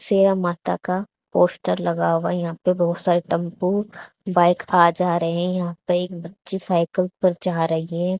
शेरा माता का पोस्टर लगा हुआ यहां पे बहोत सारे टेंपो बाइक आ जा रहे हैं यहां पे एक बच्ची सायकल पर जा रही है।